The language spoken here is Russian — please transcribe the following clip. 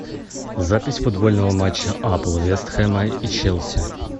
запись футбольного матча апл вест хэма и челси